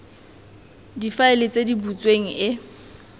difaele tse di butsweng e